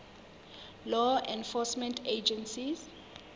law enforcement agencies